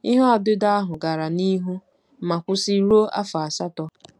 Ihe ọdịdọ ahụ gara n'ihu ma kwụsị ruo afọ asatọ.